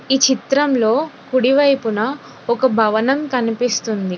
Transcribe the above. ఈ చిత్రంలో కుడి వైపున ఒక భవనం కనిపిస్తుంది.